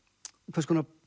hvers konar